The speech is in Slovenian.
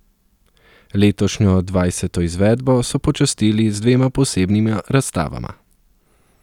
Letošnjo dvajseto izvedbo so počastili z dvema posebnima razstavama.